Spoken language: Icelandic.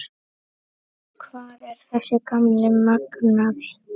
Hvar er þessi gamli magnaði?